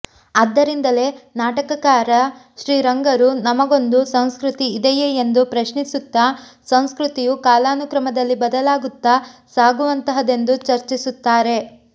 ಆದ್ದರಿಂದಲೇ ನಾಟಕಕಾರ ಶ್ರೀರಂಗರು ನಮಗೊಂದು ಸಂಸ್ಕೃತಿ ಇದೆಯೇ ಎಂದು ಪ್ರಶ್ನಿಸುತ್ತಾ ಸಂಸ್ಕೃತಿಯು ಕಾಲಾನುಕ್ರಮದಲ್ಲಿ ಬದಲಾಗುತ್ತಾ ಸಾಗುವಂತಹದೆಂದು ಚರ್ಚಿಸುತ್ತಾರೆ